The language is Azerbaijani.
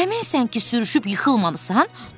Əminsən ki, sürüşüb yıxılmamısan?